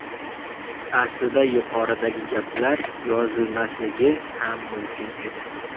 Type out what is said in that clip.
Aslida yuqoridagi gaplar yozilmasligi ham mumkin edi.